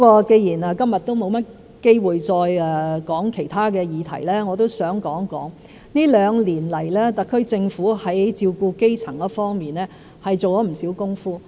既然今天沒有機會再說其他議題，我也想談談這兩年來，特區政府在照顧基層市民方面做了不少工夫。